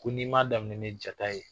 Ko n'i ma daminɛ ni Jata ye